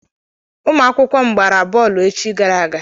Ụmụ akwụkwọ m gbara bọọlụ echi gara aga.